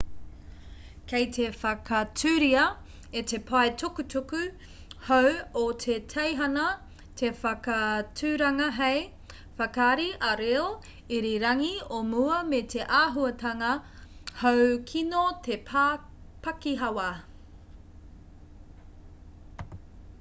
kei te whakaaturia e te pae tukutuku hou o te teihana te whakaaturanga hei whakaari ā-reo irirangi o mua me te āhuatanga hou kino te pakihawa